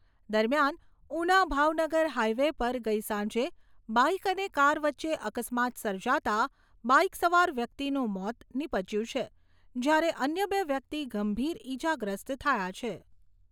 દરમિયાન ઉના ભાવનગર હાઈવે પર ગઈ સાંજે બાઈક અને કાર વચ્ચે અકસ્માત સર્જાતા બાઈક સવાર વ્યક્તિનું મોત નિપજ્યું છે, જ્યારે અન્ય બે વ્યક્તિ ગંભીર ઈજાગ્રસ્ત થયા છે.